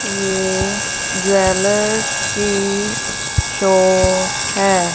Jewellers की shop है।